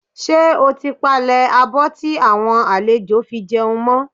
Ṣé o ti palẹ̀ abọ́ tí àwọn àlejò fi jẹun mọ́?